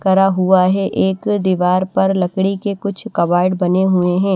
करा हुआ है एक दीवार पर लकड़ी के कुछ कबर्ड बने हुए हैं।